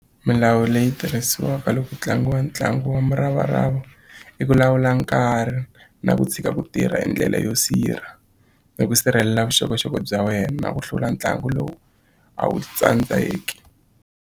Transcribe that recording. Milawu leyi tirhisiwaka loko ku tlangiwa ntlangu wa muravarava i ku lawula nkarhi na ku tshika ku tirha hi ndlela yo sirha ni ku sirhelela vuxokoxoko bya wena na ku hlula ntlangu lowu a wu tsandzeki.